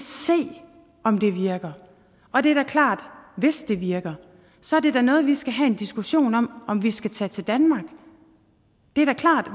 se om det virker og det er da klart at hvis det virker så er det da noget som vi skal have en diskussion om om vi skal tage til danmark det er da klart at